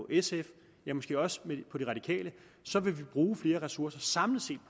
sf eller måske også på de radikale så vil vi bruge flere ressourcer samlet set